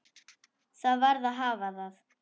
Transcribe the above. Það varð að hafa það.